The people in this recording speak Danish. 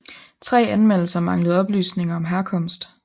Tre anmeldelser manglede oplysninger om herkomst